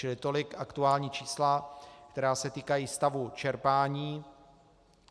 Čili tolik aktuální čísla, která se týkají stavu čerpání.